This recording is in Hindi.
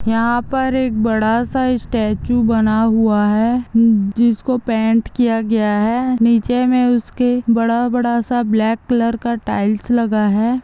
यहाँ पर एक बड़ा सा स्टैचू बना हुआ है म्म जिसको पैंट किया गया है नीचे में उसके बड़ा बड़ा सा--